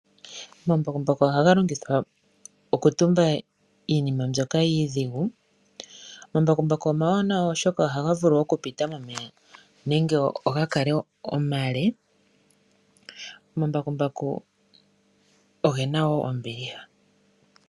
Omambakumbaku ohaga longwithwa oku tumba iinima mbyoka iidhigu. Omambakumbaku omawanawa oshoka oha vulu oku pita momeya nenge oga kale omale. Omambakumbaku ogena wo ombiliha.